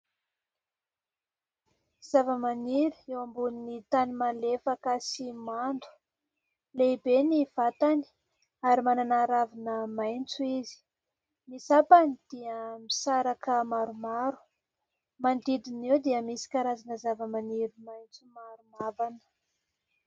Zavamaniry eo ambony tany malefaka sy mando : lehibe ny vatany ary manana ravina maitso izy ; ny sampany dia misaraka maromaro. Manodidina eo dia misy karazana zavamaniry maitso maro mavana.